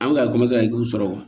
An bɛ ka sɔrɔ